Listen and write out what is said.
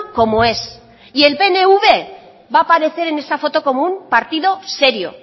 como es y el pnv va a aparecer en esa foto como un partido serio